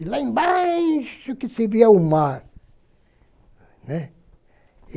E lá embaixo que se via o mar, né.